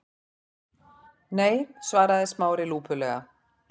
Nei- svaraði Smári lúpulega.